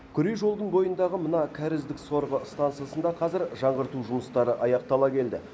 күре жолдың бойындағы мына кәріздік сорғы стансасында қазір жаңғырту жұмыстары аяқтала келді